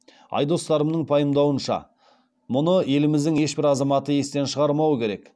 айдос сарымның пайымдауынша мұны еліміздің ешбір азаматы естен шығармауы керек